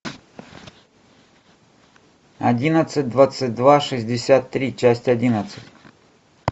одиннадцать двадцать два шестьдесят три часть одиннадцать